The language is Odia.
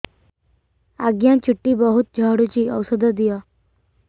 ଆଜ୍ଞା ଚୁଟି ବହୁତ୍ ଝଡୁଚି ଔଷଧ ଦିଅ